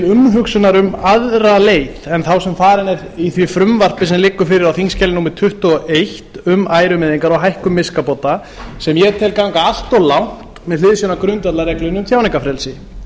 umhugsunar um aðra leið en þá sem farin er í því frumvarpi sem liggur fyrir á þingskjali númer tuttugu og eitt um ærumeiðingar og hækkun miskabóta sem ég tel ganga allt of langt með hliðsjón af grundvallarreglunni um tjáningarfrelsi